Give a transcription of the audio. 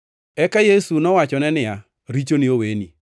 Eka Yesu nowachone niya, “Richoni oweni.”